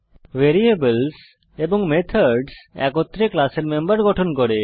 variables এবং methods একত্রে ক্লাসের মেম্বার গঠন করে